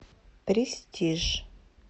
престиж